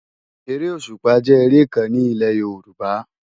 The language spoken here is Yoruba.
Éré ósúpá jè éré kán ni ilé Yoruba